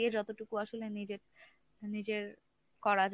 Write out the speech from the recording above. বাদ দিয়ে যতটুকু আসলে নিজের নিজের করা যায়